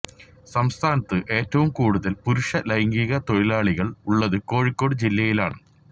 സംസ്ഥാനത്ത് ഏറ്റവും കൂടുതല് പുരുഷ ലൈംഗിക തൊഴിലാളികള് ഉള്ളത് കോഴിക്കോട് ജില്ലയിലാണ്